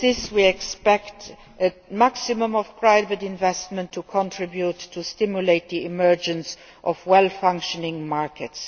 We expect a maximum level of private investment here to contribute to stimulating the emergence of properly functioning markets.